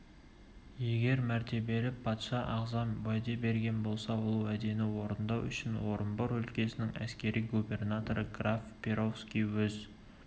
егер мәртебелі патша ағзам уәде берген болса ол уәдені орындау үшін орынбор өлкесінің әскери губернаторы граф перовский өз